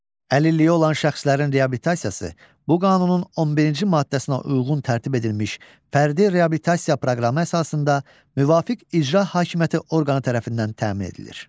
Əlilliyi olan şəxslərin reabilitasiyası bu qanunun 11-ci maddəsinə uyğun tərtib edilmiş fərdi reabilitasiya proqramı əsasında müvafiq icra hakimiyyəti orqanı tərəfindən təmin edilir.